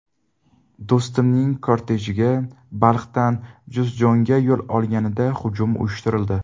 Do‘stumning kortejiga Balxdan Juzjonga yo‘l olganida hujum uyushtirildi.